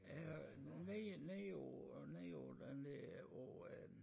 Ja og nede nede over nede over den der over øh